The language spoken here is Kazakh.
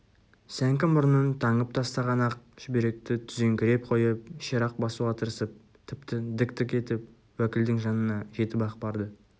сәңкі мұрнын таңып тастаған ақ шүберекті түзеңкіреп қойып ширақ басуға тырысып тіпті дік-дік етіп уәкілдің жанына жетіп-ақ барды